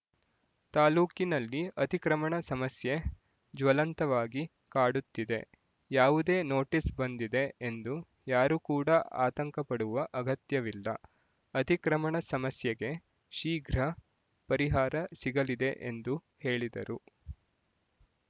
ತಾಲೂಕಿನಲ್ಲಿ ಅತಿಕ್ರಮಣ ಸಮಸ್ಯೆ ಜ್ವಲಂತವಾಗಿ ಕಾಡುತ್ತಿದೆ ಯಾವುದೇ ನೋಟಿಸ್ ಬಂದಿದೆ ಎಂದು ಯಾರು ಕೂಡ ಆತಂಕಪಡುವ ಅಗತ್ಯವಿಲ್ಲ ಅತಿಕ್ರಮಣ ಸಮಸ್ಯೆಗೆ ಶೀಗ್ರ ಪರಿಹಾರ ಸಿಗಲಿದೆ ಎಂದು ಹೇಳಿದರು